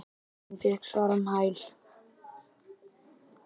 Hún fékk svar um hæl.